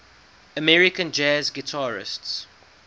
american jazz guitarists